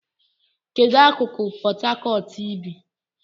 Kedu akụkụ Port Harcourt ị bi?